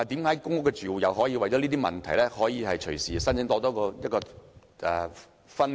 為何公屋住戶可以因為這些問題而隨時申請"分戶"？